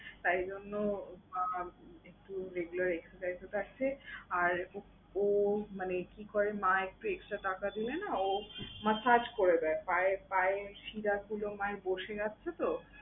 তাইজন্য মা একটু regular exercise এ যাচ্ছে। আর ও মানে কি করে, মা একটু extra টাকা দিলে না ও মার কাজ করে দেয়। পায়ে~ পায়ের শিরাগুলো মায়ের বসে গেছে তো।